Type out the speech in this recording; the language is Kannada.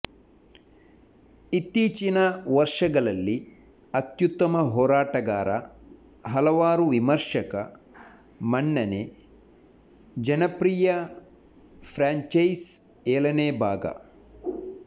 ಇತ್ತೀಚಿನ ವರ್ಷಗಳಲ್ಲಿ ಅತ್ಯುತ್ತಮ ಹೋರಾಟಗಾರ ಹಲವಾರು ವಿಮರ್ಶಕ ಮನ್ನಣೆ ಜನಪ್ರಿಯ ಫ್ರ್ಯಾಂಚೈಸ್ ಏಳನೇ ಭಾಗ